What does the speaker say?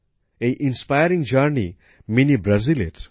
এই অনুপ্রেরণামুলক উদ্যোগটি মিনি ব্রাজিলের